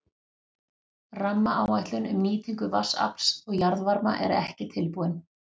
Rammaáætlun um nýtingu vatnsafls og jarðvarma er ekki tilbúin.